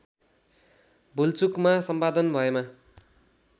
भुलचुकमा सम्पादन भएमा